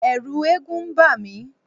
Ẹ̀ẹ̀rù eégún ń bà mí.